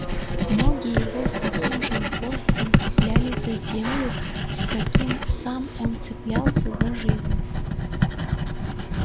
ноги его с таким же упорством цеплялись за землю с каким сам он цеплялся за жизнь